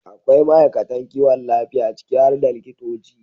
akwai ma'aikatan kiwon lafiya, ciki har da likitoci,